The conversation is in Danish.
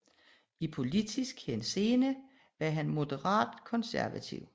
I politisk henseende var han moderat konservativ